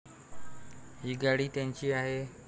ही गाडी त्यांची आहे.